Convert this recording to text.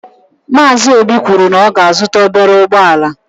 Maazi óbì kwụrụ na ọ ga -azuta ọbere ụgbọala.